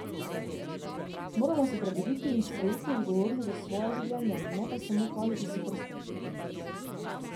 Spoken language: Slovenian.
Moramo se prebuditi in sprejeti odgovornost za svoja življenja, ne pa samo kazati s prstom.